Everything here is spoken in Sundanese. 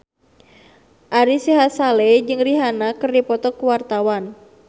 Ari Sihasale jeung Rihanna keur dipoto ku wartawan